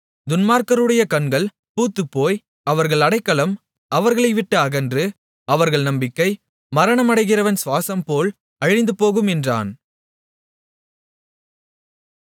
துன்மார்க்கருடைய கண்கள் பூத்துப்போய் அவர்கள் அடைக்கலம் அவர்களை விட்டு அகன்று அவர்கள் நம்பிக்கை மரணமடைகிறவன் சுவாசம்போல் அழிந்துபோகும் என்றான்